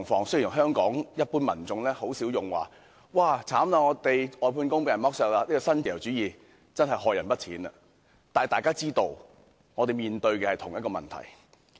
雖然香港一般民眾很少說外判工被剝削或這種新自由主義真的害人不淺，但大家也知道我們面對的是同一問題。